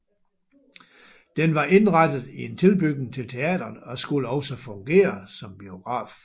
Den var indrettet i en tilbygning til teatret og skulle også fungere som biograf